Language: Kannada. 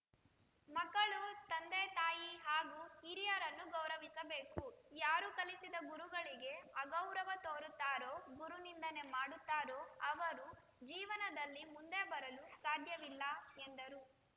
ಮಕ್ಕಳು ತಂದೆತಾಯಿ ಹಾಗೂ ಹಿರಿಯರನ್ನು ಗೌರವಿಸಬೇಕು ಯಾರು ಕಲಿಸಿದ ಗುರುಗಳಿಗೆ ಅಗೌರವ ತೋರುತ್ತಾರೋ ಗುರುನಿಂಧನೆ ಮಾಡುತ್ತಾರೋ ಅವರು ಜೀವನದಲ್ಲಿ ಮುಂದೆ ಬರಲು ಸಾದ್ಯವಿಲ್ಲ ಎಂದರು